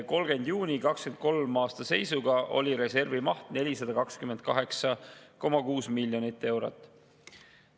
30. juuni 2023. aasta seisuga oli reservi maht 428,6 miljonit eurot.